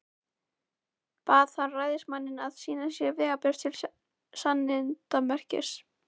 Bað hann ræðismanninn að sýna sér vegabréf til sannindamerkis.